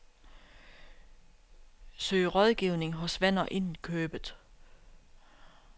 Søg rådgivning hos venner inden købet.